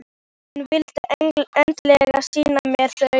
Hún vildi endilega sýna mér þau.